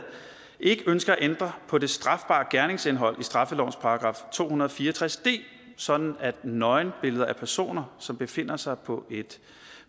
ikke ønsker at ændre på det strafbare gerningsindhold i straffelovens § to hundrede og fire og tres d sådan at nøgenbilleder af personer som befinder sig på